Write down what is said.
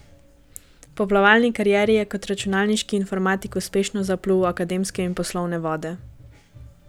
Po plavalni karieri je kot računalniški informatik uspešno zaplul v akademske in poslovne vode.